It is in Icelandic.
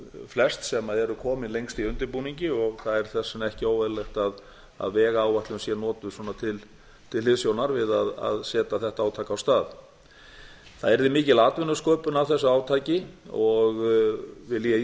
flest sem eru komin lengst í undirbúningi og það er þess vegna ekki óeðlilegt að vegáætlun sé notuð til hliðsjónar við að setja þetta átak af stað það yrði mikil atvinnusköpun af þessu átaki og vil ég í